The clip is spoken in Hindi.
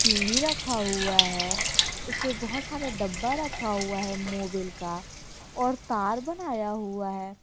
टी_वी रखा हुआ है उसपे बहुत सारे डब्बा रखा हुआ है मोवील का और तार बनाया हुआ है।